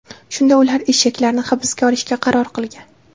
Shunda ular eshaklarni hibsga olishga qaror qilgan.